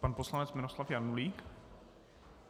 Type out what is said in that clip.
Pan poslanec Miroslav Janulík.